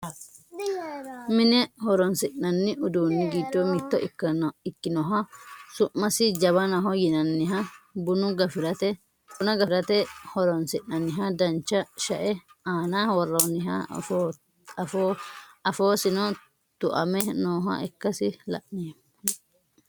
mine horonsi'nanni uduunni giddo mitto ikkinoha su'masi jawanaho yinanniha buna gafirate horonsi'nanniha dancha shae aana worroonniha afoosino tu"ame nooha ikkasi la"ommo